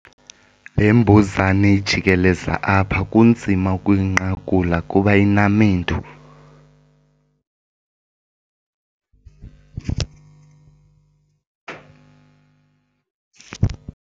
Le mbuzane ijikeleza apha kunzima ukuyinqakula kuba inamendu.